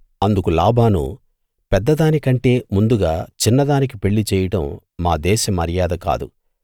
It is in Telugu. అందుకు లాబాను పెద్దదాని కంటే ముందుగా చిన్నదానికి పెళ్ళి చేయడం మా దేశమర్యాద కాదు